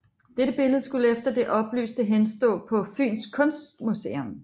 Dette billede skulle efter det oplyste henstå på Fyns Kunstmuseum